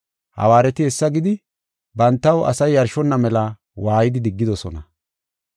Hawaareti hessa gidi, bantaw asay yarshonna mela waaydi diggidosona.